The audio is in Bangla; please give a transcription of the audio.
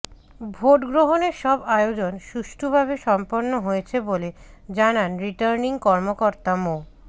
ভোট গ্রহণের সব আয়োজন সুষ্ঠুভাবে সম্পন্ন হয়েছে বলে জানান রিটার্নিং কর্মকর্তা মো